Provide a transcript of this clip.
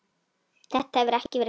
Þetta hefur ekki verið gert.